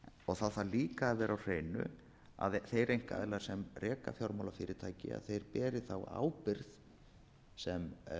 það þarf líka að vera á hreinu að þeir einkaaðilar sem reka fjármálafyrirtæki þeir beri ábyrgð sem